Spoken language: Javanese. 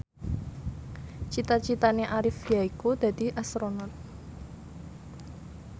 cita citane Arif yaiku dadi Astronot